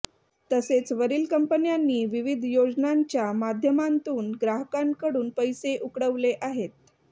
तसेच वरील कंपन्यांनी विविध योजनांच्या माध्यमांतून ग्राहकांकडून पैसे उकळवले आहेत